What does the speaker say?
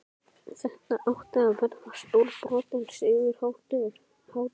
Þetta átti að verða stórbrotin sigurhátíð!